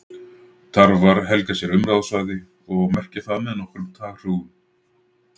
tarfar helga sér umráðasvæði og merkja það með nokkrum taðhrúgum